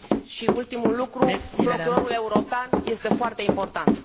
Și ultimul lucru Procurorul European este foarte important.